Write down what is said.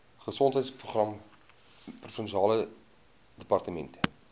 gesondheidsprogramme provinsiale departement